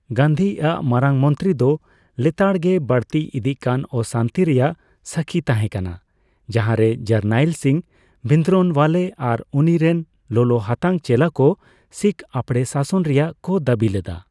ᱜᱟᱱᱫᱷᱤ ᱟᱜ ᱢᱟᱨᱟᱝᱢᱚᱛᱨᱤ ᱫᱚ ᱞᱮᱛᱟᱲᱜᱮ ᱵᱟᱹᱲᱛᱤ ᱤᱫᱤᱜᱠᱟᱱ ᱚᱥᱟᱱᱛᱤ ᱨᱮᱭᱟᱜ ᱥᱟᱹᱠᱷᱤᱭ ᱛᱟᱦᱮᱸ ᱠᱟᱱᱟ, ᱡᱟᱦᱟᱸᱨᱮ ᱡᱟᱨᱱᱟᱭᱤᱞ ᱥᱤᱝ ᱵᱷᱤᱱᱫᱨᱚᱱᱣᱟᱞᱮ ᱟᱨ ᱩᱱᱤ ᱨᱮᱱ ᱞᱚᱞᱚᱦᱟᱛᱟᱝ ᱪᱮᱞᱟ ᱠᱚ ᱥᱤᱠᱷ ᱟᱯᱲᱮᱥᱟᱥᱚᱱ ᱨᱮᱭᱟᱜ ᱠᱚ ᱫᱟᱹᱵᱤ ᱞᱮᱫᱟ ᱾